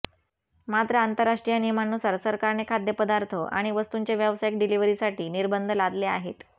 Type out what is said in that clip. मात्र आंतरराष्ट्रीय नियमांनुसार सरकारने खाद्यपदार्थ आणि वस्तूंच्या व्यावसायिक डिलीव्हरीसाठी निर्बंध लादले आहेत